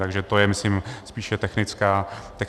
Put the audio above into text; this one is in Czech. Takže to je, myslím, spíše technická věc.